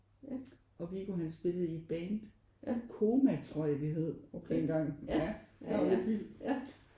Og Viggo han spillede i et band. Koma tror jeg de hed dengang. Ja det er jo lidt vildt